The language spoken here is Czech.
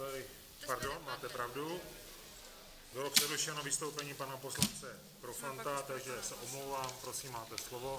Pardon, máte pravdu, bylo přerušeno vystoupení pana poslance Profanta, takže se omlouvám, prosím, máte slovo.